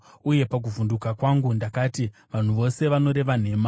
Uye pakuvhunduka kwangu ndakati, “Vanhu vose vanoreva nhema.”